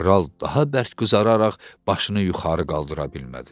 Kral daha bərk qızararaq başını yuxarı qaldıra bilmədi.